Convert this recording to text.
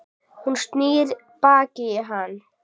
Hún snýr baki í hann.